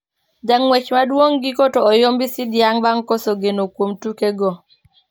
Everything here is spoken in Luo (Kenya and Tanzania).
Ja ngwech madung giko to oyombi sidiang bang koso geno kuom tuke go